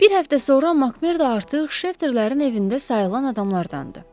Bir həftə sonra Makmerdo artıq Şefterlərin evində sayılan adamlardandı.